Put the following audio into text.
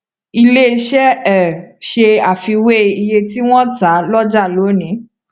ilé iṣẹ um ṣe àfiwé iye tí wọn tà lọjà lónìí